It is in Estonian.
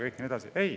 Ei!